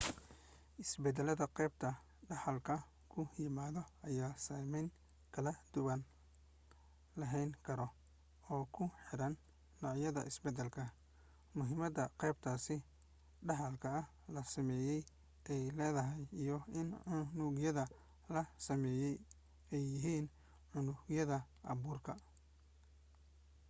isbedeladda qaybta dhaxalka ku yimaado ayaa saamayn kala duwan lahaan karo oo ku xiran nooca isbedelka muhiimadda qaybtaas dhexaalka la sameeyey ey leedahay iyo in unugyadda la sameeyey ay yihiin unugyadda abuurka